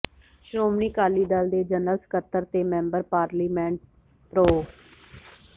ਸ਼ੋ੍ਮਣੀ ਅਕਾਲੀ ਦਲ ਦੇ ਜਨਰਲ ਸਕੱਤਰ ਤੇ ਮੈਂਬਰ ਪਾਰਲੀਮੈਂਟ ਪ੍ਰੋ